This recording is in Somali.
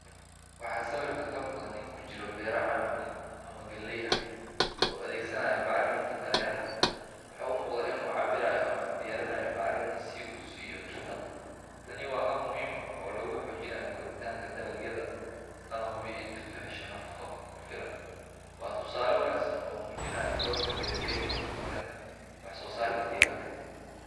Waxaa sawirkan ka muuqda nin ku jira beero canab ah ama galley ah oo adeegsanaya bacriminta dareeraha ah. Waxa uu u muuqdaa inuu cabbirayo ama diyaarinayo bacriminta si uu u siiyo dhirta. Tani waa hab muhiim ah oo lagu xoojinayo koritaanka dalagyada lana hubiyo in dhirtu hesho nafaqo ku filan. Waa tusaale wanaagsan oo muujinaya doorka beeraleyda ee horumarinta wax soosaarka deegaanka.